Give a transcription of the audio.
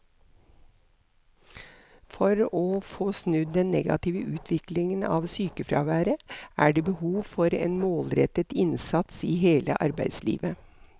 For å få snudd den negative utviklingen av sykefraværet er det behov for en målrettet innsats i hele arbeidslivet.